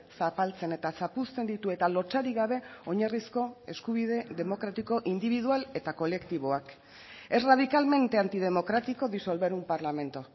zapaltzen eta zapuzten ditu eta lotsarik gabe oinarrizko eskubide demokratiko indibidual eta kolektiboak es radicalmente antidemocrático disolver un parlamento